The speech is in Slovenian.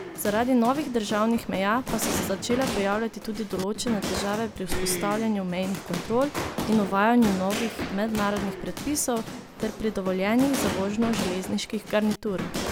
Zaradi novih državnih meja pa so se začele pojavljati tudi določene težave pri vzpostavljanju mejnih kontrol in uvajanju novih mednarodnih predpisov ter pri dovoljenjih za vožnjo železniških garnitur.